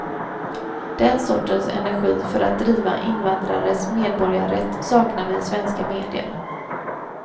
Den sortens energi för att driva invandrares medborgarrätt saknar vi i svenska medier.